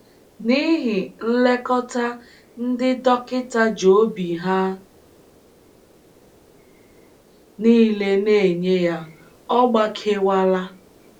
N’ihi nlekọta ndị dọkịta ji obi ha nile na - enye ya, ọ gbakewala.